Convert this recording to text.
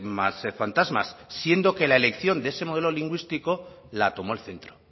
más fantasmas siendo que la elección de ese modelo lingüístico la tomó el centro